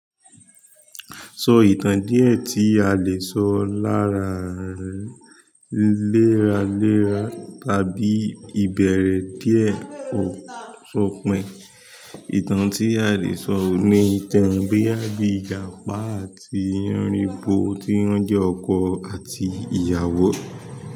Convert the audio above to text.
So ìtàn díẹ̀ tí a le sọ lára léra léra tàbí ìbẹ̀rẹ̀ díẹ̀ ó sopin. Ìtàn tí a lè sọ ní ìtàn boya bi ìjàpá àti yanrinbo tí wọ́n jẹ́ ọkọ àti ìyàwó.